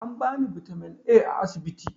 An bani bitamin A a asibiti